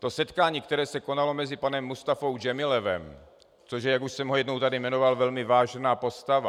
To setkání, které se konalo mezi panem Mustafou Džemilevem - což je, jak už jsem ho jednou tady jmenoval, velmi vážená postava.